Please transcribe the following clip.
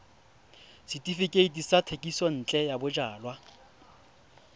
setefikeiti sa thekisontle ya bojalwa